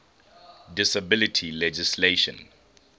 disability legislation